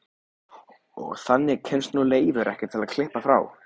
Og þangað kemst nú Leifur ekki til að klippa frá.